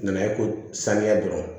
Nana ye ko saniya dɔrɔn